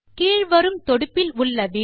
கீழ் வரும் தொடுப்பில் விடியோவை காணவும்